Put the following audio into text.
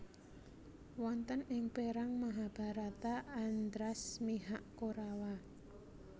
Wonten ing perang Mahabharata Andhras mihak Korawa